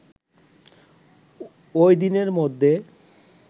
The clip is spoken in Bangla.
ওইদিনের মধ্যে